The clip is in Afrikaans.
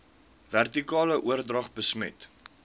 vertikale oordrag besmet